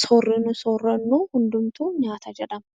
sooranni soorannu hundi nyaata jedhama